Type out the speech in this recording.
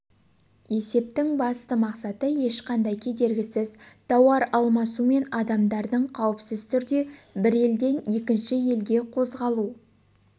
есептің басты мақсаты ешқандай кедергісіз тауаралмасу мен адамдардың қауіпсіз түрде бір елден екінші елге қозғалу